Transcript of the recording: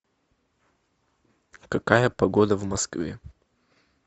какая погода в москве